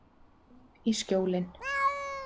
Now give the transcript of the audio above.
Heim í Skjólin.